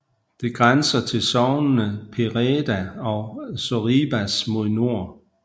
Det grænser til sognene Pereda og Sorribas mod nord